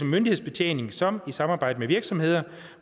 myndighedsbetjening som i samarbejde med virksomheder